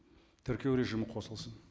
тіркеу режимі қосылсын